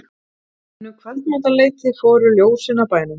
En um kvöldmatarleytið fóru ljósin af bænum.